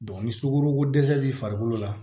ni sukorokodɛsɛ b'i farikolo la